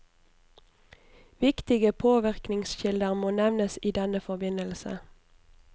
Viktige påvirkningskilder må nevnes i denne forbindelse.